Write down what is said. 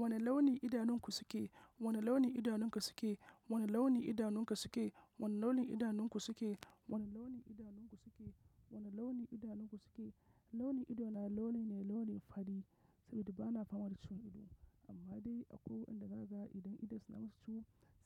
Wane launin idanunku suke? Wane launi naka ido su ke. Wane launin idanunku suke? Wane launin idanunku suke? Wane launin idanunku suke? Wane launin idanunku suke? Launin ido na launi ne launin fari saboda ba na fama da ciwon ido. Amma dai a koyo inda ka ga idon idon sa su